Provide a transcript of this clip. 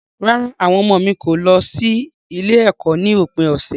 Rárá, àwọn ọmọ mi kò lọ sí ilé-ẹ̀kọ́ ní òpin ọ̀sẹ̀.